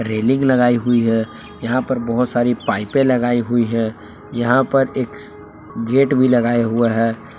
Railing लगाई हुई है यहां पर बहोत सारी पाइपें लगाई हुई है यहां पर एक गेट भी लगाए हुआ है।